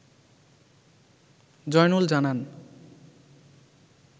জয়নুল জানান